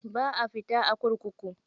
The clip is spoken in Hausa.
Ba a fita a kurkuku.